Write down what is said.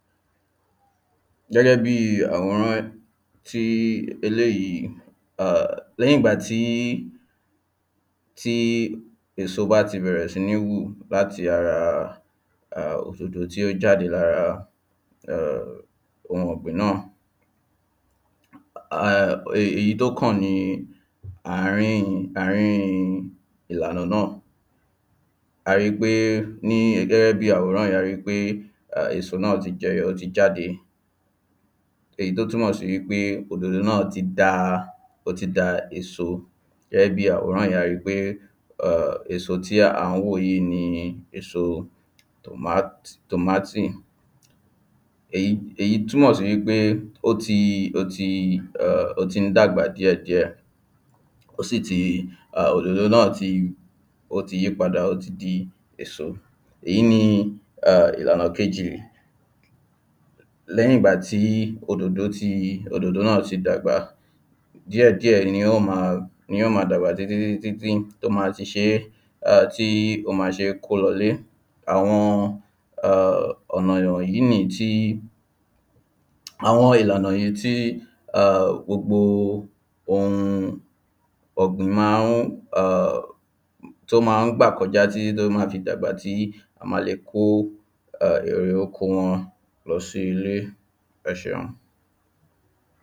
Gé̩gé̩ bi àwòrán tí eléyí a lé̩yìn ìgbà tí tí èsó bá ti bè̩rè̩ sí ní hù láti ara òdòdó tí ó jáde lára ohun ò̩gbìn náà. Èyí tó kàn ni ààrín-in ààrín iàlànà náà. A ri pé ní gé̩gé̩ bí àwòrán yí a ri pé èso náà ti je̩yo̩ ó ti jáde. Èyí túmò̩ sí wípé òdòdó náà ti da ó ti da èso. Gé̩ bí àwòrán yí, a ri pé èso tí à ń wò yíì ni èso tòmát tòmátì. Èyí túmò̩ sí wípé ó ti ó ti ó tí ń dàgbà díè̩ díè̩. Ó sì ti òdòdó náà ti ó ti yípadà ó ti di èso. Èyí ni ìlànà kejì. Lé̩yìn ìgbà tí òdòdó ti òdòdó náà ti dàgbà. Díè̩díè̩ ni yó ma ni yó ma dàgbà títítítí tó ma ti sé tó ma ti sé kó lo̩lé Àwo̩n ò̩nà ìwò̩nyí nìyí tí àwo̩n ìlànà yí tí gbogbo ohun ò̩gbìn ma ń tí ó ma ń gbà ko̩já tí tó tó fi má a dàgbà tí a ma le kó èrè oko wo̩n lo̩ sí ilé.